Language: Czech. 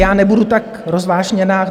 Já nebudu tak rozvášněná.